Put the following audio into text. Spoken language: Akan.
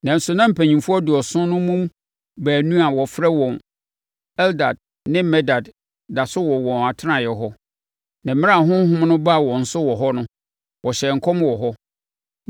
Nanso na mpanimfoɔ aduɔson no mu baanu a wɔfrɛ wɔn Eldad ne Medad da so wɔ wɔn atenaeɛ hɔ. Na mmerɛ a honhom no baa wɔn so wɔ hɔ no, wɔhyɛɛ nkɔm wɔ hɔ.